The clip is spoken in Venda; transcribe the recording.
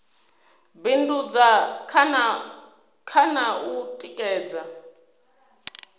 bindudza kha na u tikedza